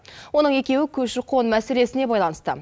оның екеуі көші қон мәселесіне байланысты